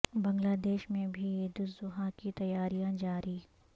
بنگلہ دیش میں بھی عید الاضحی کی تیاریاں جاری